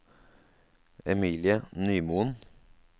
Emilie Nymoen